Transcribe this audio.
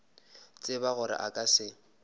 tseba gore a ka se